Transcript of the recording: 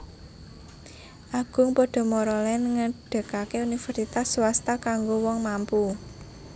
Agung Podomoro Land ngedegake universitas swasta kanggo wong mampu